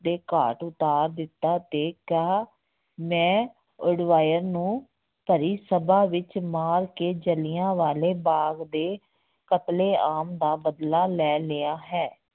ਦੇ ਘਾਟ ਉਤਾਰ ਦਿੱਤਾ ਤੇ ਕਿਹਾ ਮੈਂ ਉਡਵਾਇਰ ਨੂੰ ਭਰੀ ਸਭਾ ਵਿੱਚ ਮਾਰ ਕੇ ਜਿਲ੍ਹਿਆਂ ਵਾਲੇ ਬਾਗ਼ ਦੇ ਕਤਲੇਆਮ ਦਾ ਬਦਲਾ ਲੈ ਲਿਆ ਹੈ।